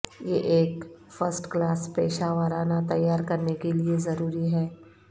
یہ ایک first class پیشہ ورانہ تیار کرنے کے لئے ضروری ہے